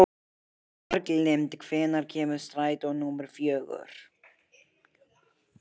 Bjarglind, hvenær kemur strætó númer fjögur?